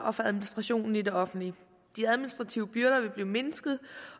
og for administrationen i det offentlige de administrative byrder vil blive mindsket